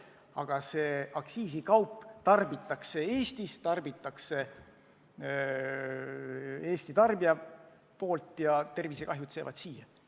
Aga see aktsiisikaup tarbitakse Eestis ja Eesti elanike tervisekahjud jäävad meie kanda.